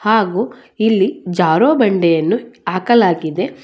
ಹಾಗೂ ಇಲ್ಲಿ ಜಾರೋ ಬಂಡೆಯನ್ನು ಹಾಕಲಾಗಿದೆ.